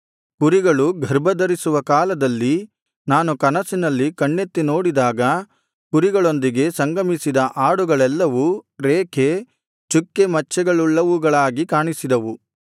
ಕುರಿಗಳು ಗರ್ಭಧರಿಸುವ ಕಾಲದಲ್ಲಿ ನಾನು ಕನಸಿನಲ್ಲಿ ಕಣ್ಣೆತ್ತಿ ನೋಡಿದಾಗ ಕುರಿಗಳೊಂದಿಗೆ ಸಂಗಮಿಸಿದ ಆಡುಗಳೆಲ್ಲವೂ ರೇಖೆ ಚುಕ್ಕೆ ಮಚ್ಚೆಗಳುಳ್ಳವುಗಳಾಗಿ ಕಾಣಿಸಿದವು